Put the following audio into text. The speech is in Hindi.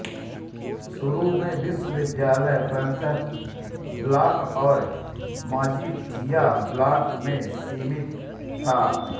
शुरू में विश्वविद्यालय पन्त ब्लॉक और मजीठिया ब्लॉक में सीमित था